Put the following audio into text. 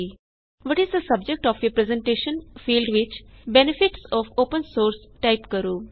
what is the subject of your presentation field ਵਿੱਚ benefits of open source type ਕਰੋ